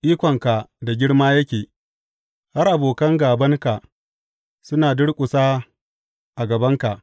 Ikonka da girma yake har abokan gābanka suna durƙusa a gabanka.